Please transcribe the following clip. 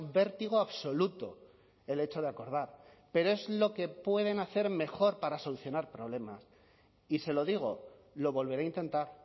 vértigo absoluto el hecho de acordar pero es lo que pueden hacer mejor para solucionar problemas y se lo digo lo volverá a intentar